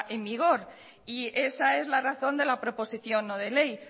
en vigor y esa es la razón de la proposición no de ley